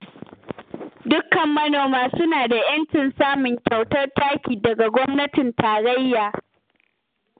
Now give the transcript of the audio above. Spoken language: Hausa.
Dukkan manoma suna da 'yancin samun kyautar taki daga gwamnatin tarayya